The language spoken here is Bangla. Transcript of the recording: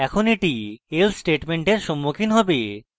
এখন at else স্টেটমেন্টের সম্মুখীন হবে